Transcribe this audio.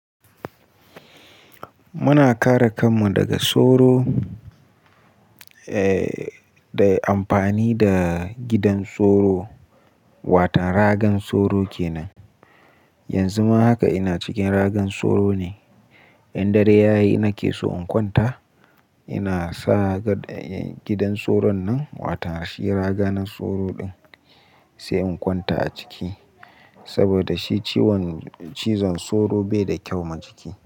Muna kare kanmu daga soro, eh, da amfani da gidan soro, watan ragan soro kenan. Yanzu ma haka ina cikin ragan soro ne. In dare ya yi na ke so in kwanta, ina sa gad, gidan soron nan, watan shi raga na soro din sai in kwanta a ciki. Saboda shi ciwon, cizon soro bai da kyau ma jiki.